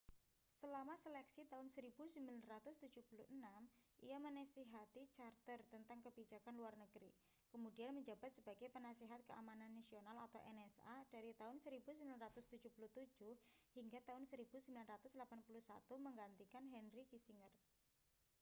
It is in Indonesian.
selama seleksi tahun 1976 ia menasihati carter tentang kebijakan luar negeri kemudian menjabat sebagai penasihat keamanan nasional nsa dari tahun 1977 hingga tahun 1981 menggantikan henry kissinger